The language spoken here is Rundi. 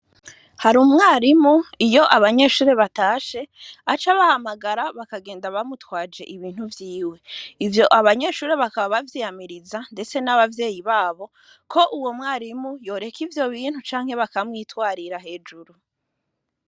Hari umwarimu, iyo abanyeshure batashe, aca abahamagara bakagenda bamutwaje ibintu vyiwe . Abanyeshure bakaba bavyiyamiriza ndetse n' abavyeyi babo, ko uwo mwarimu yoreka ivyo bintu, canke bakamwitwarira hejuru.